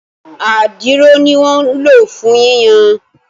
Adiro ní wọ́n ń lò fún yíyan